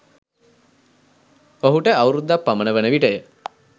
ඔහුට අවුරුදක් පමණ වන විටය.